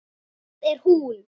Það er hún.